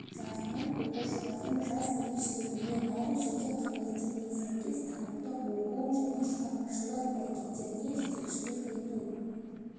жағынан оқушылардың жас ерекшелігіне әрі жеке қабілеттеріне сәйкес танымдық оқу және шығармашылық әрекеттеріне жетекшілік ету